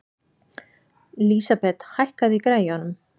Lísabet, hækkaðu í græjunum.